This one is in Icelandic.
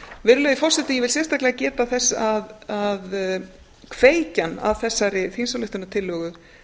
virðulegi forseti ég vil sérstaklega geta þess að kveikjan að þessari þingsályktunartillögu